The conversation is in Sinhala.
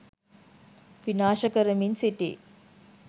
විනාශ කරමින් සිටී